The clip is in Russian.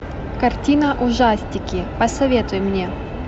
картина ужастики посоветуй мне